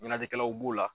Ɲɛnajɛlaw b'o la